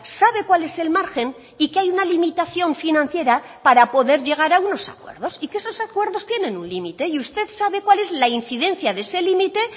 sabe cuál es el margen y que hay una limitación financiera para poder llegar a unos acuerdos y que esos acuerdos tienen un límite y usted sabe cuál es la incidencia de ese límite